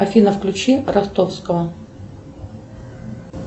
афина включи ростовского